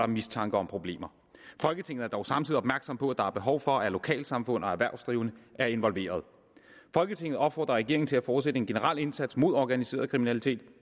mistanke om problemer folketinget er dog samtidig opmærksom på at der er behov for at lokalsamfund og erhvervsdrivende er involverede folketinget opfordrer regeringen til at fortsætte en generel indsats mod organiseret kriminalitet